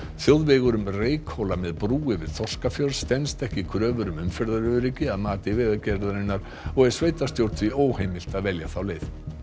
þjóðvegur um Reykhóla með brú yfir Þorskafjörð stenst ekki kröfur um umferðaröryggi að mati Vegagerðarinnar og er sveitarstjórn því óheimilt að velja þá leið